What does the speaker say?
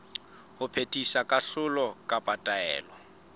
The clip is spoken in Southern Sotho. ho phethisa kahlolo kapa taelo